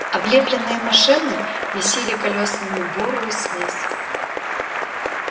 облепленные машины месили колёсами бурую смесь